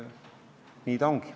Nii ta ongi.